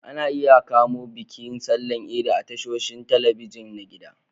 Ana iya kamo bikin sallar idi a tashoshin talabijin na gida.